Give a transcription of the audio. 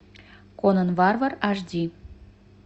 конан варвар аш ди